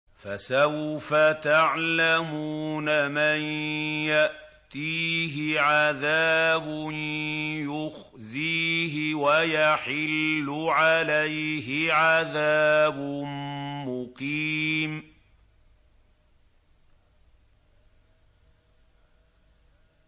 فَسَوْفَ تَعْلَمُونَ مَن يَأْتِيهِ عَذَابٌ يُخْزِيهِ وَيَحِلُّ عَلَيْهِ عَذَابٌ مُّقِيمٌ